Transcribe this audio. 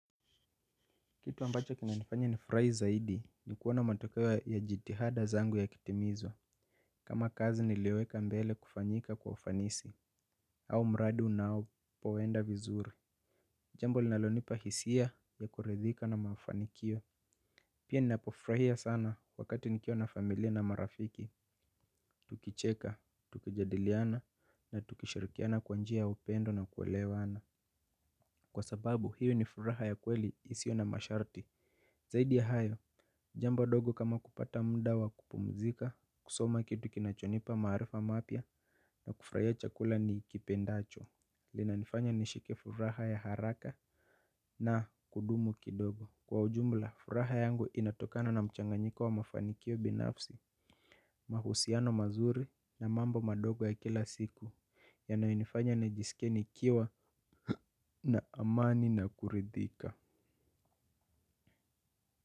Kitu ambacho kinanifanya ni furahi zaidi ni kuona matokeo ya jitihada zangu ya kitimizwa. Kama kazi nilioweka mbele kufanyika kwa ufanisi. Au mradi una au poenda vizuri. Jambo linalonipa hisia ya kuridhika na mafanikio. Pia ninapo furahia sana wakati nikiwa na familia na marafiki. Tukicheka, tukijadiliana na tukishirikiana kwanjia ya upendo na kuelewana. Kwa sababu hiyo ni furaha ya kweli isio na masharti zaidi ya hayo, jambo ndogo kama mda wa kupumzika, kusoma kitu kinachonipa maarifa mapya na kufurahia chakula nikipendacho lina nifanya nishike furaha ya haraka na kudumu kidogo, kwa ujumla furaha yangu inatokana na mchanganyiko wa mafanikio binafsi mahusiano mazuri na mambo madogo ya kila siku yanayo nifanya nijiskie nikiwa na amani na kurithika.